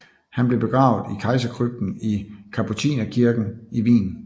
Han blev begravet i Kejserkrypten i Kapucinerkirken i Wien